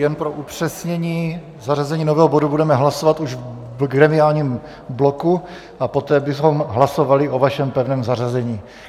Jen pro upřesnění, zařazení nového bodu budeme hlasovat už v gremiálním bloku a poté bychom hlasovali o vašem pevném zařazení.